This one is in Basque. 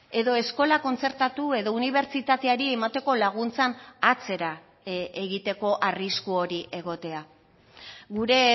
edo eskola kontzertatu edo unibertsitateari emateko laguntzan atzera egiteko arrisku hori egotea gure